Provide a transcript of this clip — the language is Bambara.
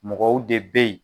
Mɔgɔw de be yen